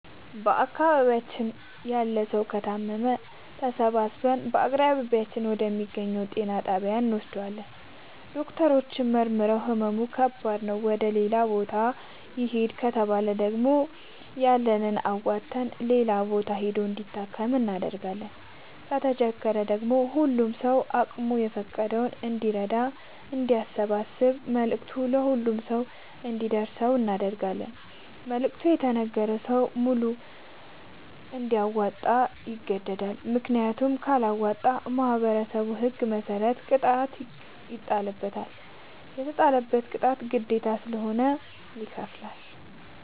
በአካባቢያችን ያለ ሠዉ ከታመመ ተሠባስበን በአቅራቢያችን ወደ ሚገኝ ጤና ጣቢያ እንወስደዋለን። ዶክተሮች መርምረዉ ህመሙ ከባድ ነዉ ወደ ሌላ ቦታ ይህድ ከተባለ ደግሞ ያለንን አዋተን ሌላ ቦታ ሂዶ እንዲታከም እናደርጋለን። ከተቸገረ ደግሞ ሁሉም ሰዉ አቅሙ እንደፈቀደ እንዲራዳና አንዲያሰባስብ መልዕክቱ ለሁሉም ሰው አንዲደርሰው እናደርጋለን። መልዕክቱ የተነገረዉ ሰዉ በሙሉ እንዲያወጣ ይገደዳል። ምክንያቱም ካለወጣ በማህበረሠቡ ህግ መሰረት ቅጣት ይጣልበታል። የተጣለበትን ቅጣት ግዴታዉ ስለሆነ ይከፍላል።